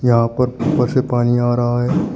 यहां पर ऊपर से पानी आ रहा है।